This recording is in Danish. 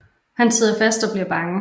Han sidder fast og bliver bange